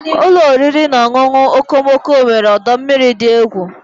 Ụlọ oriri na ọṅụṅụ okomoko nwere ọdọ mmiri dị egwu.